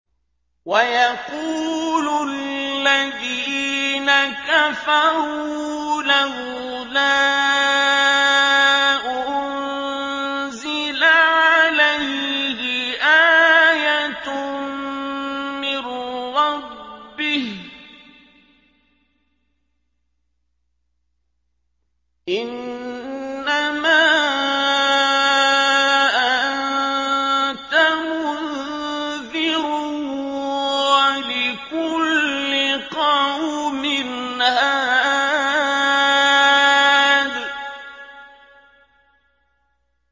وَيَقُولُ الَّذِينَ كَفَرُوا لَوْلَا أُنزِلَ عَلَيْهِ آيَةٌ مِّن رَّبِّهِ ۗ إِنَّمَا أَنتَ مُنذِرٌ ۖ وَلِكُلِّ قَوْمٍ هَادٍ